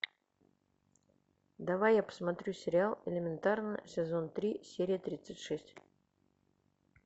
давай я посмотрю сериал элементарно сезон три серия тридцать шесть